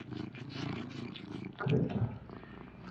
крекер